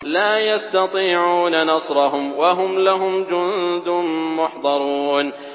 لَا يَسْتَطِيعُونَ نَصْرَهُمْ وَهُمْ لَهُمْ جُندٌ مُّحْضَرُونَ